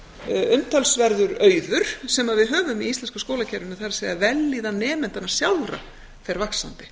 umtalsverður auður sem við höfum í íslenska skólakerfinu það er vellíðan nemendanna sjálfra fer vaxandi